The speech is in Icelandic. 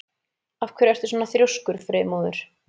Af hverju ertu svona þrjóskur, Freymóður?